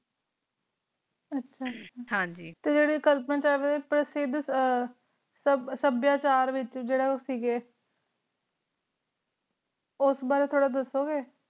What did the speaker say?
ਆਚਾ ਆਚਾ ਹਨ ਜੀ ਟੀ ਜੇਰੀ ਕਾਲਪਨ ਵਿਚ ਆ ਆ ਸਬ ਸਬ੍ਯਾਚਾਰ ਵਿਚ ਜਰਾ ਕ ਗੀ ਓਉਸ ਬਰੀ ਤੋਰਾ ਦਸੋ ਗੀ